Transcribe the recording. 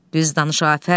Düz danış Afət.